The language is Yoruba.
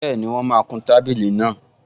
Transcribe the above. Bẹ́ẹ̀ni, wọ́n máa kun tábìlì náà